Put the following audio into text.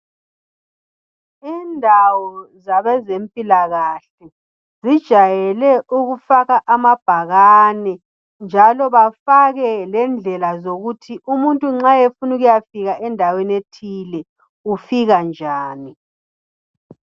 Indawo zabezempilakahle zijayele ukufaka amabhakane njalo bafake lendlela zokuthi umuntu nxa efuna ukuyafika endaweni ethile ufika njani.